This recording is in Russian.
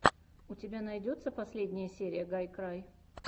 у тебя найдется последняя серия гайкрай